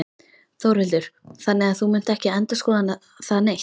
Þórhildur: Þannig að þú munt ekki endurskoða það neitt?